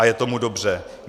A je tomu dobře.